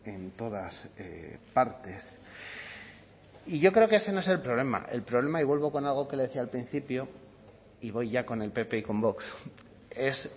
en todas partes y yo creo que ese no es el problema el problema y vuelvo con algo que le decía al principio y voy ya con el pp y con vox es